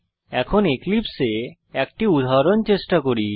এখন এক্লিপসে এ একটি উদাহরণ চেষ্টা করি